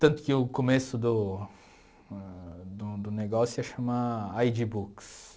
Tanto que o começo do ãh do do negócio ia se chamar ai dí Books.